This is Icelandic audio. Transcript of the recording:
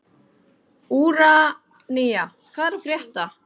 Úranía, hvað er að frétta?